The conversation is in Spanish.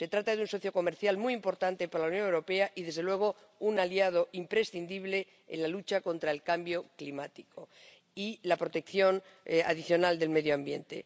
Se trata de un socio comercial muy importante para la Unión Europea y, desde luego, un aliado imprescindible en la lucha contra el cambio climático y la protección adicional del medio ambiente.